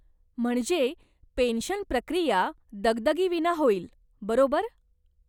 म्हणजे, पेन्शन प्रक्रिया दगदगीविना होईल, बरोबर?